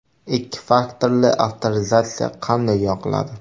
Ikki faktorli avtorizatsiya qanday yoqiladi?